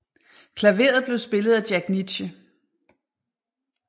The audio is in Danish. Klaveret blev spillet af Jack Nitzsche